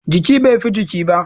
Jiki, bai fi jiki ba